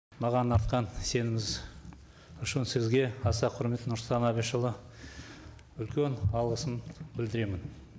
маған артқан сеніміңіз үшін сізге аса құрмет нұрсұлтан әбішұлы үлкен алғысым білдіремін